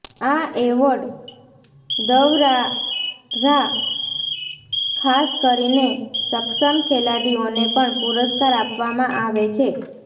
આ એવોર્ડ દ્વ્રારા ખાસ કરીને સક્ષમ ખેલાડીઓને પણ પુરસ્કાર આપવામાં આવે છે